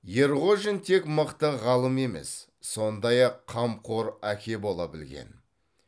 ерғожин тек мықты ғалым емес сондай ақ қамқор әке бола білген